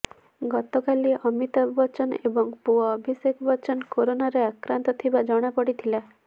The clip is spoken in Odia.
ଗତକାଲି ଅମିତାଭ ବଚ୍ଚନ ଏବଂ ପୁଅ ଅଭିଷେକ ବଚ୍ଚନ କରୋନାରେ ଆକ୍ରାନ୍ତ ଥିବା ଜଣାପଡିଥିଲା